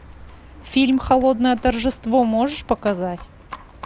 фильм холодное торжество можешь показать